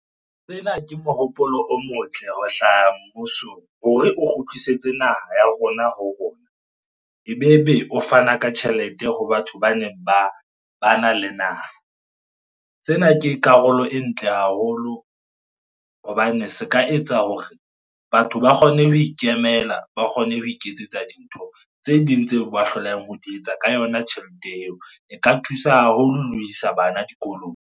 Ke mohopolo o motle ho hlaha mmusong hore o kgutlisetse naha ya rona ho rona. Ebebe o fana ka tjhelete ho batho baneng bana le naha. Ke karolo e ntle haholo hobane se ka etsa hore batho ba kgone ho ikemela, ba kgone ho iketsetsa dintho tse ding tseo ba hlolehang ho di etsa ka yona tjhelete eo. E ka thusa haholo le ho isa bana dikolong.